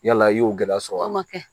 Yala i y'o gɛlɛya sɔrɔ a ma kɛ